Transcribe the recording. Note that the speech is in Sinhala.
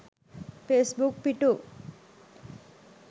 ෆේස්බුක් පි‍ටු